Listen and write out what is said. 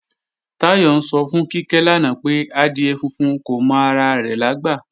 Táyọ̀ ń sọ fún Kíkẹ́ lánàá pé, adìẹ funfun kò mọ ara rẹ̀ lágbà